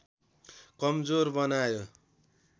कमजोर बनायो